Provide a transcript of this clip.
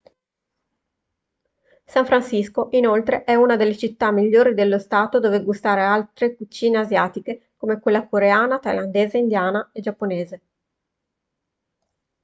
san francisco inoltre è una delle città migliori dello stato dove gustare altre cucine asiatiche come quella coreana thailandese indiana e giapponese